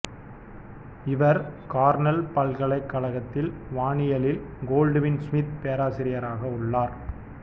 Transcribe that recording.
இவர் கார்னெல் ப்ல்கலைக்கழகத்தில் வானியலில் கோல்டுவின் சுமித் பேராசிரியராக உள்ளார்